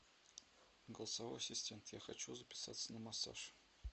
голосовой ассистент я хочу записаться на массаж